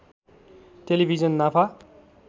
television नाफा